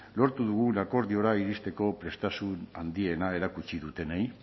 lortu dugun akordiora iristeko prestasun handiena erakutsi dutenei